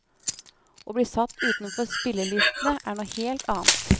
Å bli satt utenfor spillelistene er noe helt annet.